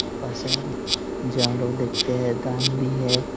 प्रशांत जानवर देखते हैं दान भी है।